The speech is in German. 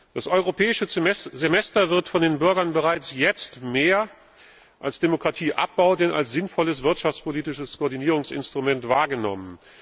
Das Europäische Semester wird von den Bürgern bereits jetzt mehr als Demokratieabbau denn als sinnvolles wirtschaftspolitisches Koordinierungsinstrument wahrgenommen.